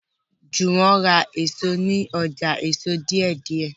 Juwon rà èso ní ọjà èso deidei